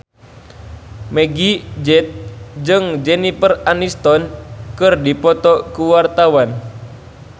Meggie Z jeung Jennifer Aniston keur dipoto ku wartawan